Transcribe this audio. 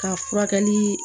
Ka furakɛli